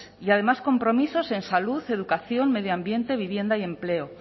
y además compromisos en salud educación medio ambiente vivienda y empleo